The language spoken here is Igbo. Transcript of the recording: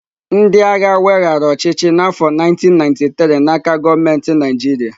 Ndị agha weghaara ọchịchị n'afọ 1993 n'aka gọọmenti Naijiria.